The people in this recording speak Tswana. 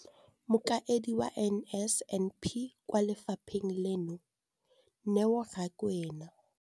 Mokaedi wa NSNP kwa lefapheng leno, Neo Rakwena,